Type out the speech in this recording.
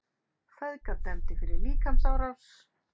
Feðgar dæmdir fyrir líkamsárás